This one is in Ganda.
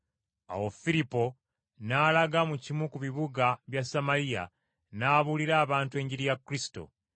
Awo Firipo, n’alaga mu kimu ku bibuga bya Samaliya n’abuulira abantu Enjiri ya Kristo.